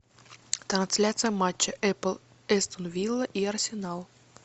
трансляция матча апл астон вилла и арсенал